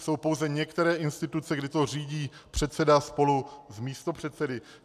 Jsou pouze některé instituce, kde to řídí předseda spolu s místopředsedy.